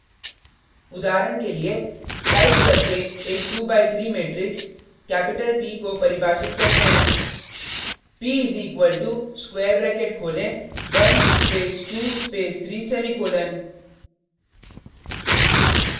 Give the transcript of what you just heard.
उदाहरण के लिए टाइप करके एक 2 by 3 matrix p को परिभाषित करते हैं p is equal to square bracket खोलें 1 स्पेस 2 स्पेस 3 सेमीकोलन